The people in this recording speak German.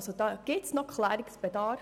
Hier besteht noch Klärungsbedarf.